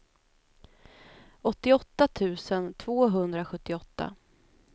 åttioåtta tusen tvåhundrasjuttioåtta